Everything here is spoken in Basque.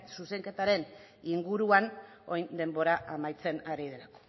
zuzenketaren inguruan orain denbora amaitzen ari delako